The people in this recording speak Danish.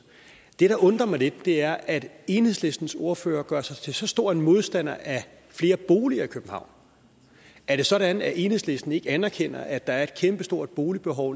det der undrer mig lidt er at enhedslistens ordfører gør sig til så stor en modstander af flere boliger i københavn er det sådan at enhedslisten ikke anerkender at der er et kæmpestort boligbehov